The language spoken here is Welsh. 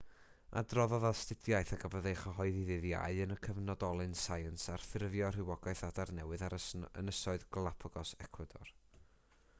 adroddodd astudiaeth a gafodd ei chyhoeddi ddydd iau yn y cyfnodolyn science ar ffurfio rhywogaeth adar newydd ar ynysoedd galápagos ecwador